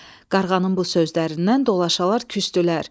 Qarğanın bu sözlərindən dolaşalar küsdülər.